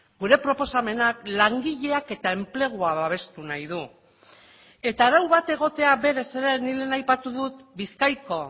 gure proposamenak langileak eta enplegua babestu nahi du eta arau bat egotea berez ere nik lehen aipatu dut bizkaiko